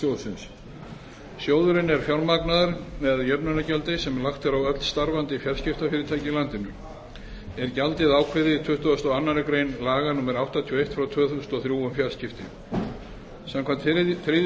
sjóðsins sjóðurinn er fjármagnaður með jöfnunargjaldi sem lagt er á öll starfandi fjarskiptafyrirtæki í landinu er gjaldið ákveðið í tuttugasta og aðra grein laga númer áttatíu og eitt tvö þúsund og þrjú um fjarskipti samkvæmt þriðju